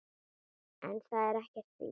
En það er ekki víst.